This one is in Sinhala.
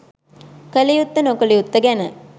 කලයුත්ත නොකලයුත්ත ගැන